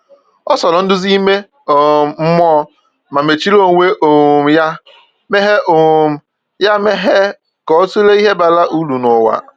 O soro nduzi ime um mmụọ, ma mechiri onwe um ya meghe um ya meghe ka o tụlee ihe bara uru n’ụwa.